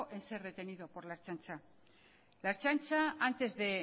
en ser detenido por la ertzaintza la ertzaintza antes de